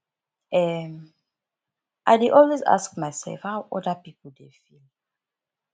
um i dey always ask mysef how oda pipo dey feel